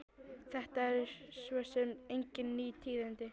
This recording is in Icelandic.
Þetta eru svo sem engin ný tíðindi.